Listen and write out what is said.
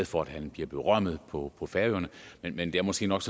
for at han bliver berømmet på færøerne men det er måske nok